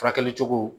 Furakɛli cogo